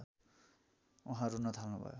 उहाँ रून थाल्नुभयो